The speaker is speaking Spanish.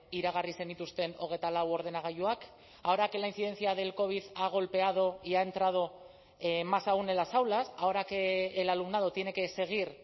iragarri zenituzten hogeita lau ordenagailuak ahora que la incidencia del covid ha golpeado y ha entrado más aun en las aulas ahora que el alumnado tiene que seguir